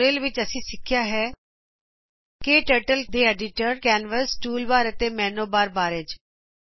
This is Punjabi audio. ਇਸ ਟਯੂਟੋਰੀਅਲ ਵਿਚ ਅਸੀ ਸਿੱਖੀਆ ਹੈ ਕੇ ਟਰਟਲ ਦੇ ਐਡੀਟਰ ਕੈਨਵਸ ਟੂਲਬਾਰ ਅਤੇ ਮੈਨੂ ਬਾਰ ਬਾਰੇ